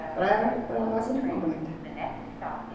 A praia, para nós, é muito mais bonita.